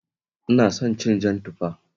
Ina son cin jan tufa